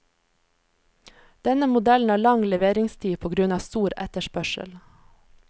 Denne modellen har lang leveringstid på grunn av stor etterspørsel.